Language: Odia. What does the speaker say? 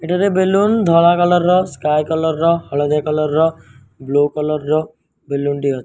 ଏଠାରେ ବେଲୁନ ଧଳା କଲର ର ସ୍କାଏ କଲର ର ହଳଦିଆ କଲର ର ବ୍କ୍କ କଲର ର ବେଲୁନ ଟି ଅ --